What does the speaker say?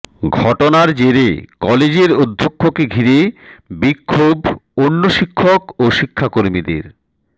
ঘটনার জেরে কলেজের অধ্যক্ষকে ঘিরে বিক্ষোভ অন্য শিক্ষক ও শিক্ষাকর্মীদের